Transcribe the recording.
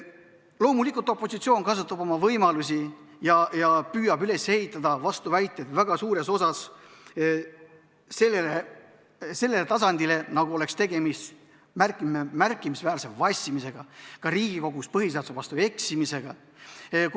Loomulikult, opositsioon kasutab oma võimalusi ja püüab üles ehitada vastuväiteid väga suures osas sellele tasandile, nagu oleks tegemist märkimisväärse vassimisega, ka Riigikogus põhiseaduse vastu eksimisega.